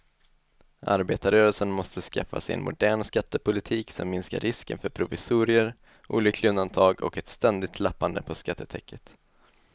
Arbetarrörelsen måste skaffa sig en modern skattepolitik som minskar risken för provisorier, olyckliga undantag och ett ständigt lappande på skattetäcket.